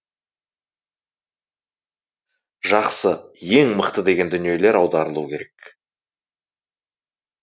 жақсы ең мықты деген дүниелер аударылуы керек